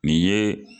Nin ye